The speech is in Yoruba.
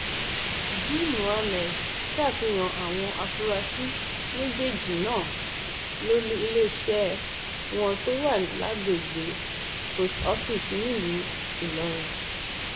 g mohammed ṣàfihàn àwọn afurasí méjèèjì náà lólu iléeṣẹ wọn tó wà lágbègbè post office nílùú ìlọrin